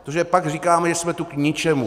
Protože pak říkáme, že jsme tu k ničemu.